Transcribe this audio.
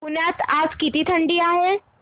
पुण्यात आज किती थंडी आहे